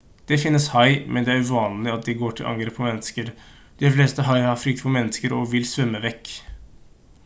det finnes hai men det er uvanlig at de går til angrep på mennesker de fleste haier har frykt for mennesker og vil svømme vekk